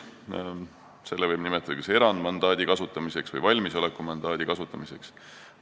Seda võib nimetada kas erandmandaadi või valmisolekumandaadi kasutamiseks.